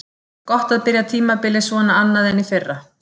Gott að byrja tímabilið svona annað en í fyrra.